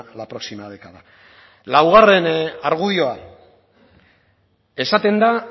la próxima década laugarren argudioa esaten da